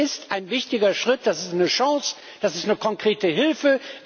Und das ist ein wichtiger Schritt, das ist eine Chance, das ist eine konkrete Hilfe.